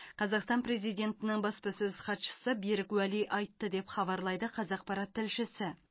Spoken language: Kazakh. қазақстан президентінің баспасөз хатшысы берік уәли айтты деп хабарлайды қазақпарат тілшісі